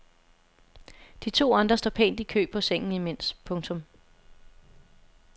De to andre står pænt i kø på sengen imens. punktum